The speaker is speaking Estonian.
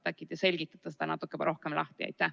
Äkki te selgitate seda natuke rohkem lahti.